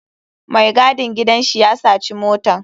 Mai gadin gidan shi ya saci motan.